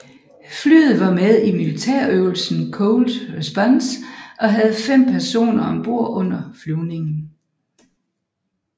Flyet var med i militærøvelsen Cold Response og havde fem personer om bord under flyvningen